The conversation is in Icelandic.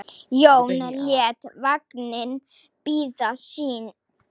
Jón lét vagninn bíða sín.